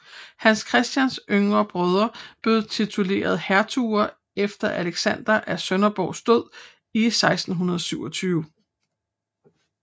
Hans Christians yngre brødre blev titulære hertuger efter Alexander af Sønderborgs død i 1627